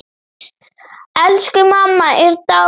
Elsku mamma er dáin.